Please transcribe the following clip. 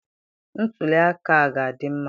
Ntuli aka a ga-adị mma